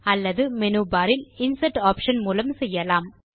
அல்லது menu bar இல் insert option மூலம் செய்யலாம்